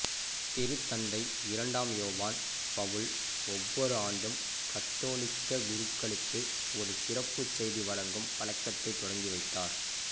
திருத்தந்தை இரண்டாம் யோவான் பவுல் ஒவ்வொரு ஆண்டும் கத்தோலிக்க குருக்களுக்கு ஒரு சிறப்புச் செய்தி வழங்கும் பழக்கத்தைத் தொடங்கிவைத்தார்